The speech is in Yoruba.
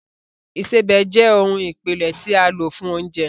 Ìsebẹ̀ jẹ́ ohun ìpìlẹ̀ tí a lò fún oúnjẹ